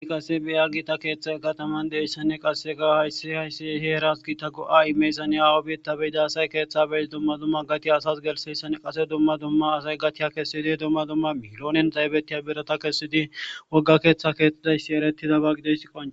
I qase biya gita keeththa kataman deessanne qasse ga hayssi hayssi heeras gita go7a imeysanea awubieta beyidaasay keeththa beyis dumma dumma gatiya asas gelseyssann qase dumma dumma asay gatiya kessidi dumma dumma miloonen daybettiya birata kessidi wogga keeththa keettidayssi erettizabagideyssi qon.